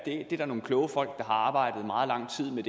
der nogle kloge folk der har arbejdet meget lang tid med